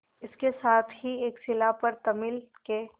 इसके साथ ही एक शिला पर तमिल के